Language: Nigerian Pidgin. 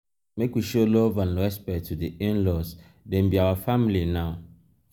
make we show love and respect to di in-laws dem be our family now.